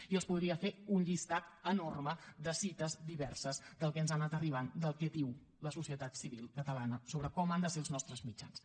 i els podria fer un llistat enorme de cites diverses del que ens ha anat arribant del que diu la societat civil catalana sobre com han de ser els nostres mitjans